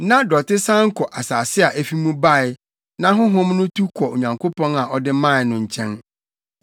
na dɔte san kɔ asase a efi mu bae, na honhom no tu kɔ Onyankopɔn a ɔde mae no nkyɛn.